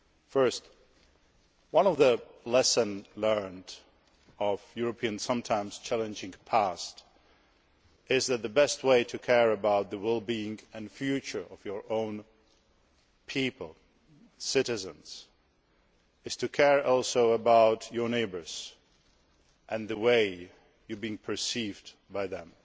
First, one of the lessons learned from Europe's sometimes challenging past is that the best way to care about the well being and future of your own people citizens is also to care about your neighbours and the way you are perceived by them.